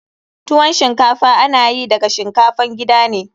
Tuwon shinkafa ana yi daga shinkafan gida ne.